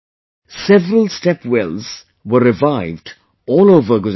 Several step wells were revived all over Gujarat